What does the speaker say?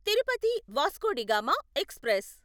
Tirupati Vasco da Gama express